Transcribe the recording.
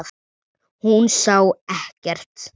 Hún sá ekkert.